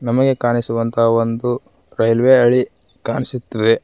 ನಮಗೆ ಕಾಣಿಸುವಂತಹ ಒಂದು ರೈಲ್ವೆ ಹಳಿ ಕಾಣಿಸುತ್ತದೆ.